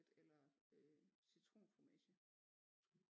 Eller citronfromage